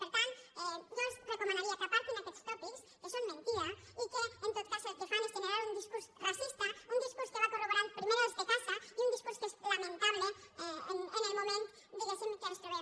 per tant jo els recomanaria que apartin aquests tòpics que són mentida i que en tot cas el que fan és generar un discurs racista un discurs que va corroborant primer els de casa i un discurs que és lamentable en el moment diguéssim que ens trobem